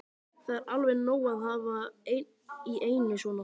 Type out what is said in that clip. Það er alveg nóg að hafa einn í einu svona.